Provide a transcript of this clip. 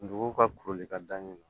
Dugu ka kuruli ka da ɲɛ na